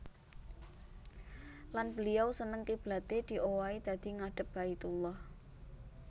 Lan beliau seneng kiblaté diowahi dadi ngadhep Baitullah